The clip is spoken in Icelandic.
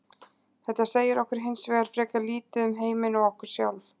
Þetta segir okkur hins vegar frekar lítið um heiminn og okkur sjálf.